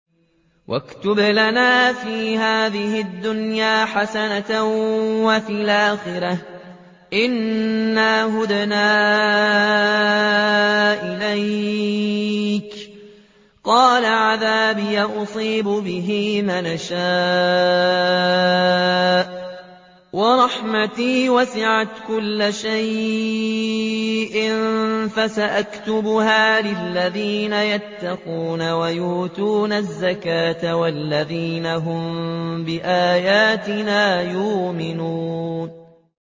۞ وَاكْتُبْ لَنَا فِي هَٰذِهِ الدُّنْيَا حَسَنَةً وَفِي الْآخِرَةِ إِنَّا هُدْنَا إِلَيْكَ ۚ قَالَ عَذَابِي أُصِيبُ بِهِ مَنْ أَشَاءُ ۖ وَرَحْمَتِي وَسِعَتْ كُلَّ شَيْءٍ ۚ فَسَأَكْتُبُهَا لِلَّذِينَ يَتَّقُونَ وَيُؤْتُونَ الزَّكَاةَ وَالَّذِينَ هُم بِآيَاتِنَا يُؤْمِنُونَ